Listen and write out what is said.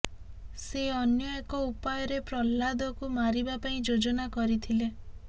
ସେ ଅନ୍ୟ ଏକ ଉପାୟରେ ପ୍ରହ୍ଲାଦକୁ ମାରିବା ପାଇଁ ଯୋଜନା କରିଥିଲେ